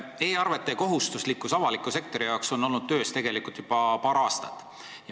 E-arvete kohustuslikkus avaliku sektori jaoks on olnud töös tegelikult juba paar aastat.